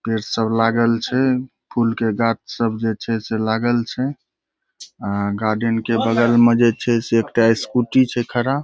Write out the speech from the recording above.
पेड़ सब लागल छै फूल के गाछ सब जे छै से लागल छै आ गार्डन के बगल में जे छै से एकटा स्कूटी छै खड़ा।